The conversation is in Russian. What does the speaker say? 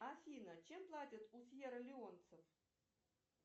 афина чем платят